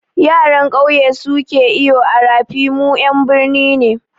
Yaran kyauye suke bule a rafi, mu ƴan birni ne